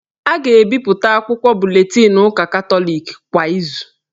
A ga-ebipụta akwụkwọ buletinụ ụka Katọliki kwa izu